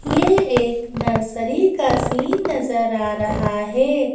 ये एक नर्सरी का सीन नजर आ रहा है।